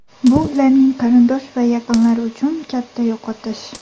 Bu ularning qarindosh va yaqinlari uchun katta yo‘qotish.